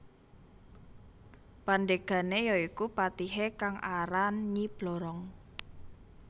Pandegane ya iku patihe kang aran Nyi Blorong